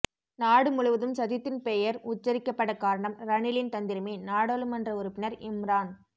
நாடு முழுவதும் சஜித்தின் பெயர் உச்சரிக்கப்பட காரணம் ரணிலின் தந்திரமே நாடாளுமன்ற உறுப்பினர் இம்ரான்